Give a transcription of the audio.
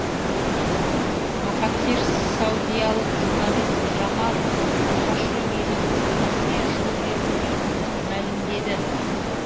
махатхир саудиялық журналист жамал хашоггидің өліміне жол берілмейтінін мәлімдеді